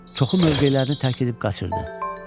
Çoxu mövqelərini tərk edib qaçırdı.